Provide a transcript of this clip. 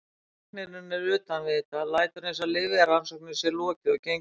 Læknirinn er utan við þetta, lætur eins og lyfjarannsókninni sé lokið og gengur út.